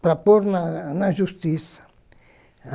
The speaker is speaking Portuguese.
para pôr na na justiça.